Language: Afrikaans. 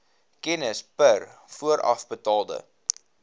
kennis per voorafbetaalde